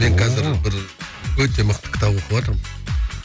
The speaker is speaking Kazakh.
ооо енді қазір бір өте мықты кітап оқыватырмын